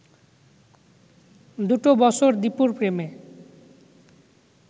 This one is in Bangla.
দুটো বছর দীপুর প্রেমে